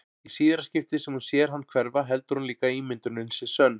Í síðara skiptið sem hún sér hann hverfa heldur hún líka að ímyndunin sé sönn.